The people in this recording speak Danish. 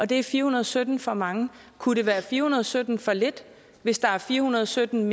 det er fire hundrede og sytten for mange kunne det være fire hundrede og sytten for lidt hvis der er fire hundrede og sytten